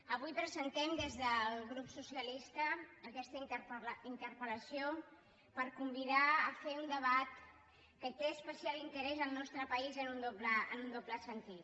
avui presentem des del grup socialista aquesta interpel·a fer un debat que té especial interès al nostre país en un doble sentit